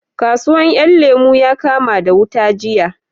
Kasuwan 'yan lemo ya kama wuta jiya